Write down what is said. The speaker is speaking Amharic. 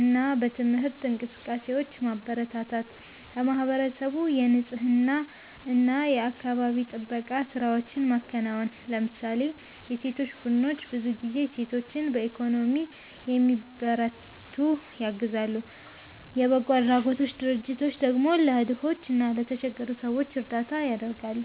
እና በትምህርት እንቅስቃሴዎች ማበረታታት ለማህበረሰቡ የንፅህና እና የአካባቢ ጥበቃ ስራዎችን ማከናወን ለምሳሌ የሴቶች ቡድኖች ብዙ ጊዜ ሴቶችን በኢኮኖሚ እንዲበረቱ ያግዛሉ፣ የበጎ አድራጎት ድርጅቶች ደግሞ ለድሆች እና ለተቸገሩ ሰዎች እርዳታ ያደርጋሉ።